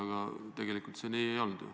Aga tegelikult see nii ju ei olnud.